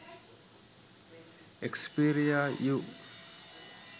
xperia u